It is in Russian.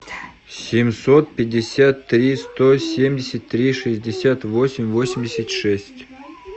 семьсот пятьдесят три сто семьдесят три шестьдесят восемь восемьдесят шесть